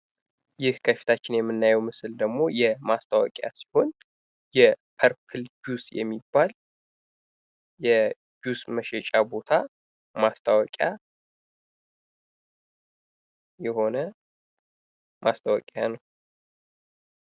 ይህ ከፊታችን የምናየው ምስል ደግሞ ማስታወቂያ ሲሆን የፐርፕል ጁስ የሚባል የጁስ መሸጫ ቦታ ማስታወቂያ የሆነ ማስታወቂያ ነው።